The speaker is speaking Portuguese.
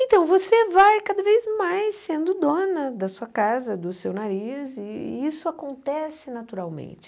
Então, você vai cada vez mais sendo dona da sua casa, do seu nariz, e isso acontece naturalmente.